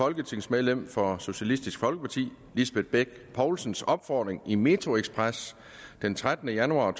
folketingsmedlem for socialistisk folkeparti lisbeth bech poulsens opfordring i metroxpress den trettende januar